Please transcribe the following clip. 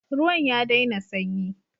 Ruwan ya daina sanyi.